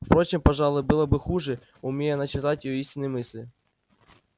впрочем пожалуй было бы хуже умей она читать её истинные мысли